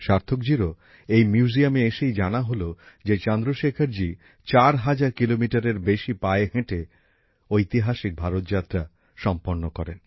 সার্থকজীরও এই মিউজিয়ামে এসেই জানা হল যে চন্দ্রশেখরজি চার হাজার কিলোমিটারের বেশি পায়ে হেঁটে ঐতিহাসিক ভারত যাত্রা সম্পন্ন করেন